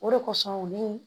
O de kosɔn u ni